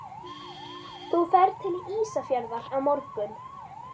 Þú ferð til Ísafjarðar á morgun.